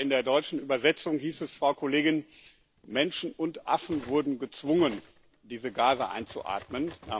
Aber in der deutschen Übersetzung hieß es, Frau Kollegin Menschen und Affen wurden gezwungen, diese Gase einzuatmen.